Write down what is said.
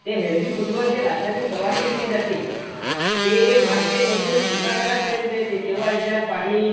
ते हेल्थी फूडवर जे रासायनिक फवारणी केली जाते, ते मार्केटमधून दुकानदारापर्यंत येते तेंव्हा त्याच्यावर पाणी